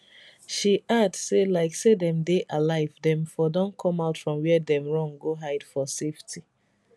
she add say like say dem dey alive dem for don come out from wia dem run go hide for safety